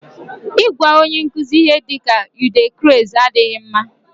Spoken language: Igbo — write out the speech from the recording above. Ịgwa onye nkuzi ihe dịka "u dey craze" adịghị mma